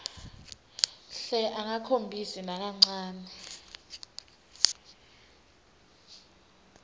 hle angakhombisi nakancane